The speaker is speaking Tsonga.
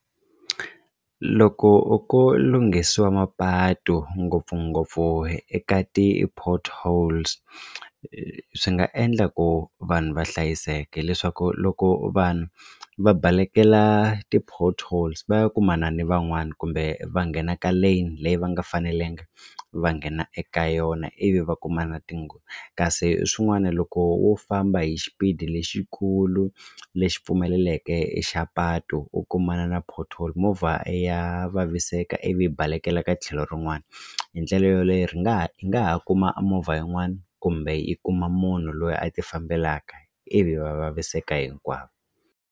Loko ko lunghisiwa mapatu ngopfungopfu eka ti-potholes swi nga endla ku vanhu va hlayiseke hileswaku loko vanhu va balekela ti-potholes va ya kumana na van'wani kumbe va nghena ka lane leyi va nga fanelanga va nghena eka yona ivi va kumana na tinghozi kasi swin'wana loko wo famba hi xipidi lexikulu lexi pfumeleleke i xa patu u kumana na pothole movha ya vaviseka ivi yi balekela ka tlhelo rin'wani hi ndlela yoleyo ri nga ha yi nga ha kuma a movha yin'wana kumbe yi kuma munhu loyi a tifambelaka ivi va vaviseka hinkwavo.